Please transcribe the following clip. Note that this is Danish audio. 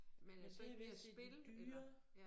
Men er det så ikke mere spil eller